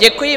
Děkuji.